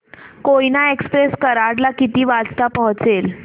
Koyna express Karad ला किती वाजता पोहचेल